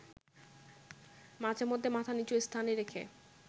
মাঝেমধ্যে মাথা নিচু স্থানে রেখে